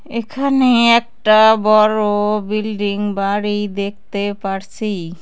এখানে একটা বড়-ও বিল্ডিং বাড়ি দেখতে পারসি ।